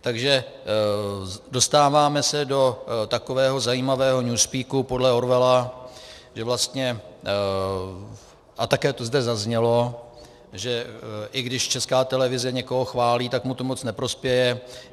Takže dostáváme se do takového zajímavého newspeaku podle Orwella, že vlastně, a také to zde zaznělo, že i když Česká televize někoho chválí, tak mu to moc neprospěje.